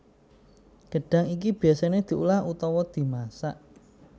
Gedhang iki biyasane diolah utawa dimasak